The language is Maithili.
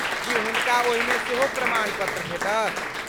की हुनका ओहिमे सेहो प्रमाणपत्र भेटत?